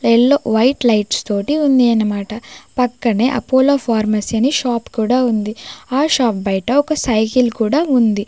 Yellow white lights తోటి ఉంది అనమాట పక్కనే అపోలో ఫార్మసీ అని షాప్ కూడా ఉంది ఆ షాప్ బయట ఒక సైకిల్ కూడా ఉంది.